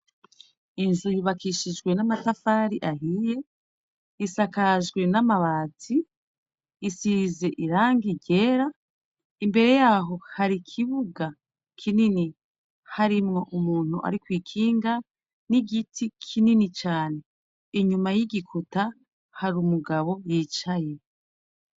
Inzu ibakishijwe n'amasafari ahiye isakajwe n'amabazi isirize iranga ryera imbere yaho hari ikibuga kinini harimwo umuntu ari koikinga n'igiti kinini cane inyuma y'igikuta hari umugaba abubwicaye.